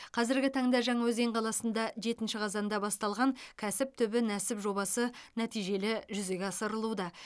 қазіргі таңда жаңаөзен қаласында жетінші қазанда басталған кәсіп түбі нәсіп жобасы нәтижелі жүзеге асырылуда